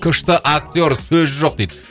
күшті актер сөз жоқ дейді